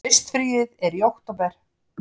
Haustfríið er í október.